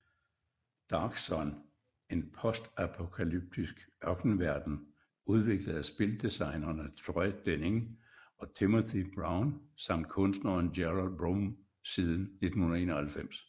Dark Sun En postapokalyptisk ørkenverden udviklet af spildesignerne Troy Denning og Timothy Brown samt kunstneren Gerald Brom siden 1991